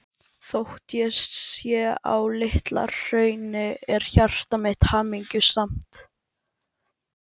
Þótt ég sé á Litla-Hrauni er hjarta mitt hamingjusamt.